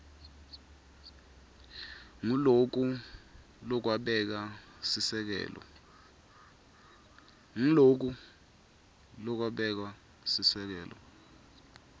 nguloku lokwabeka sisekelo